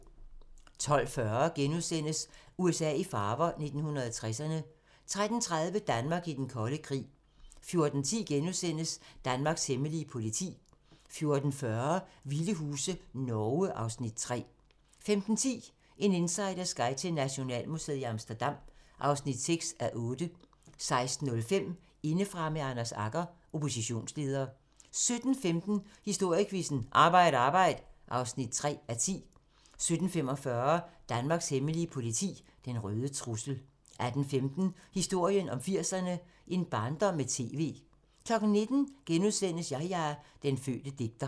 12:40: USA i farver - 1960'erne * 13:30: Danmark i den kolde krig 14:10: Danmarks hemmelige politi * 14:40: Vilde huse - Norge (Afs. 3) 15:10: En insiders guide til Nationalmuseet i Amsterdam (6:8) 16:05: Indefra med Anders Agger - Oppositionsleder 17:15: Historiequizzen: Arbejd Arbejd (3:10) 17:45: Danmarks Hemmelige politi: Den røde trussel 18:15: Historien om 80'erne: En barndom med TV 19:00: Yahya – Den fødte digter *